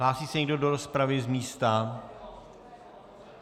Hlásí se někdo do rozpravy z místa?